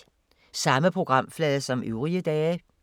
Samme programflade som øvrige dage